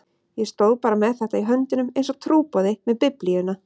Ég stóð bara með þetta í höndunum einsog trúboði með Biblíuna.